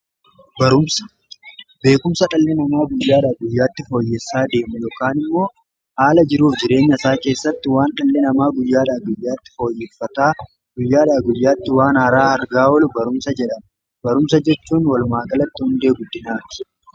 Beekumsa dhalli namaa guyyaadha guyyaatti fooyyessaa deemu yookaan immoo aala jiruuf jireenya isaa keessatti waan dhalli namaa guyyaadha guyyaatti fooyyeffataa guyyaadha guyyaatti waan haaraa argaa wolu barumsa jedha barumsa jechuun walumaa galatti hundee guddinaati.